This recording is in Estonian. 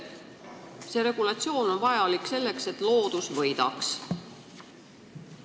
See regulatsioon on vajalik selleks, et loodus võidaks.